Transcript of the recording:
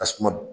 Tasuma